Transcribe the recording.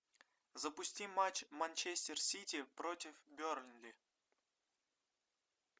запусти матч манчестер сити против бернли